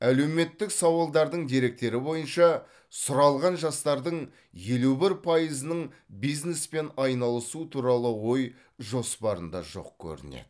әлеуметтік сауалдардың деректері бойынша сұралған жастардың елу бір пайызының бизнеспен айналысу туралы ой жоспарында жоқ көрінеді